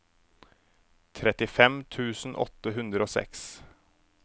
trettifem tusen åtte hundre og seks